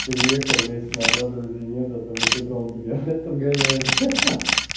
приехал месяц назад друзей нет зато мефедрон тебя блять подгоняет ха-ха